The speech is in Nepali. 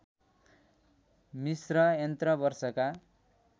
मिस्र यन्त्र वर्षका